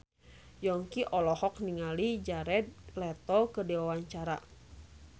Yongki olohok ningali Jared Leto keur diwawancara